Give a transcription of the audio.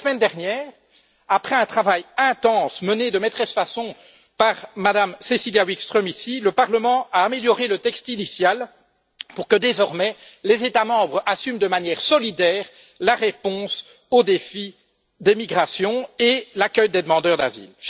La semaine dernière, après un travail intense mené de main de maître par Mme Cecilia Wikström, ici, le Parlement a amélioré le texte initial pour que désormais les États membres assument de manière solidaire la réponse au défi des migrations et l'accueil des demandeurs d'asile.